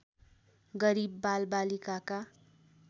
गरिब बालबालिकाका